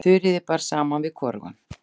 Þuríði bar saman við hvorugan.